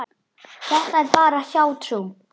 Þetta er bara hjátrú.